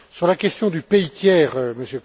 Sur la question du pays tiers,